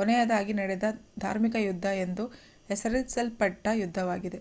ಕೊನೆಯದಾಗಿ ನಡೆದ ಧಾರ್ಮಿಕ ಯುದ್ಧ ಎಂದು ಹೆಸರಿಸಲ್ಪಟ್ಟ ಯುದ್ಧವಾಗಿದೆ